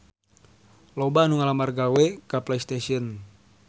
Loba anu ngalamar gawe ka Playstation